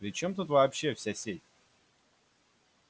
при чём тут вообще вся сеть